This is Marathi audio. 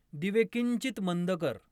दिवे किंचित मंद कर